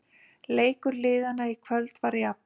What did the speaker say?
Leikur liðanna í kvöld var jafn